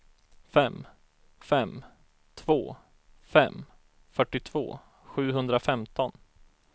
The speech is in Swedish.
fem fem två fem fyrtiotvå sjuhundrafemton